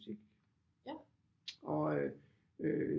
Musik og øh